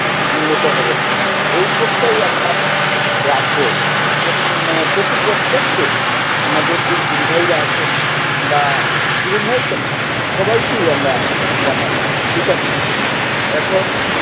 উন্নত হবে না, ঐ চলতেই আমরা রাখবো মানে প্রতিপ্রতেক কে, আমাদের যে গুরুভাইরা আছেন, বা গুরুভাই কেনো সবাই কি আমরা জানাবো ঠিক আছে এখন